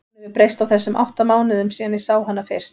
Hún hefur breyst á þessum átta mánuðum síðan ég sá hana fyrst.